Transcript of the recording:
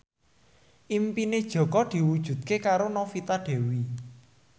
impine Jaka diwujudke karo Novita Dewi